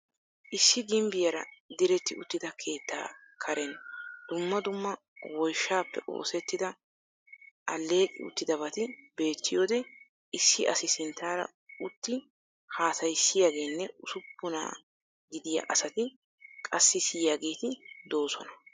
Issi gimbbiyaara diretti uttida keettaa kareen dumma dumma woyshshaappe oosettida aleeqqi uttidabaati beettiyoode issi asi sinttaara utti haasayisaiyaageenne usuppunna gidiya asatti qassi siyiyageetyi doosona.